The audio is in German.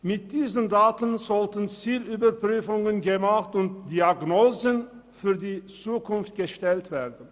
Mit diesen Daten sollten Zielüberprüfungen gemacht und Prognosen gestellt werden.